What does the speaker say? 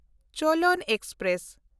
ᱪᱳᱞᱚᱱ express